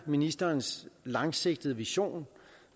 ministerens langsigtede vision